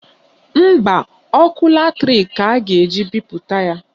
Mba, ọkụ latrik ka a ga-eji bipụta ya